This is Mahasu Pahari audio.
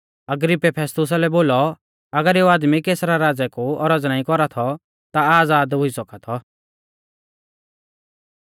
अग्रिप्पै फेस्तुसा लै बोलौ अगर एऊ आदमी कैसरा राज़ै कु औरज़ नाईं कौरा थौ ता आज़ाद हुई सौका थौ